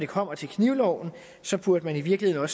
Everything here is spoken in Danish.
kommer til knivloven burde man i virkeligheden